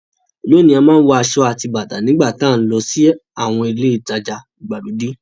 Lónìí a máa ń wọ aṣọ àti bàtà nígbà tá nlọ sí àwọn ilé ìtajà ìgbàlódé